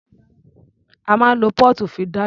A máa ń lo póòtù fi dáná.